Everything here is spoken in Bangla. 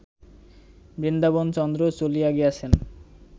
বৃন্দাবনচন্দ্র চলিয়া গিয়াছেন